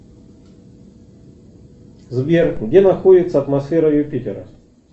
сбер где находится атмосфера юпитера